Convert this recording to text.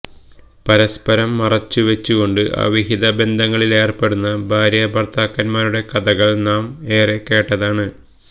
പരസ്പരം മറച്ച് വച്ച് കൊണ്ട് അവിഹിത ബന്ധങ്ങളിലേർപ്പെടുന്ന ഭാര്യാഭർത്താക്കന്മാരുടെ കഥകൾ നാം ഏറെ കേട്ടതാണ്